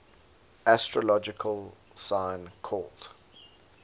astrological sign called